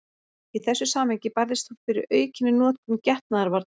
Í þessu samhengi barðist hún fyrir aukinni notkun getnaðarvarna.